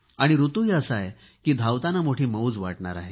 ऋतूही असा आहे की धावताना मोठी मौज वाटणार आहे